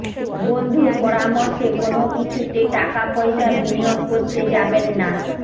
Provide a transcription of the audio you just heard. বন্ধুর পরামর্শে কোনও কিছুতে টাকাপয়সা বিনিয়োগ করতে যাবেন না